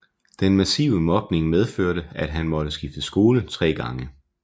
Den massive mobning medførte at han måtte skifte skole 3 gange